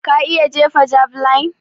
Ka iya jefa javeline?